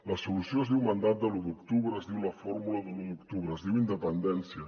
la solució es diu mandat de l’u d’octubre es diu la fórmula de l’u d’octubre es diu independència